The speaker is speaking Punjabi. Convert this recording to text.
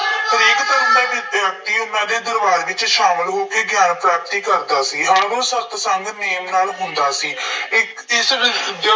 ਹਰੇਕ ਧਰਮ ਦਾ ਵਿਅਕਤੀ ਉਹਨਾ ਦੇ ਦਰਬਾਰ ਵਿੱਚ ਸ਼ਾਮਿਲ ਹੋ ਕੇ ਗਿਆਨ ਪ੍ਰਾਪਤੀ ਕਰਦਾ ਸੀ। ਆਰੰਭ ਸਤਿਸੰਗ ਨੇਮ ਨਾਲ ਹੁੰਦਾ ਸੀ। ਇੱਕ ਕਿਸੇ ਦਿਨ